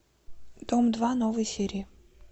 дом два новые серии